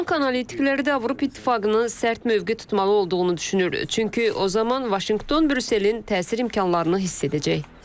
Bank analitikləri də Avropa İttifaqının sərt mövqe tutmalı olduğunu düşünür, çünki o zaman Vaşinqton Brüsselin təsir imkanlarını hiss edəcək.